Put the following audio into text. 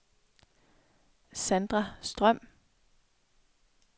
Sandra Strøm